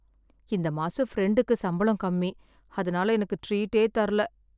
இந்த மாசம் பிரெண்டுக்கு சம்பளம் கம்மி, அதனால எனக்கு ட்ரீட்டே தரல.